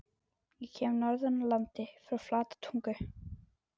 Ég kem norðan úr landi- frá Flatatungu.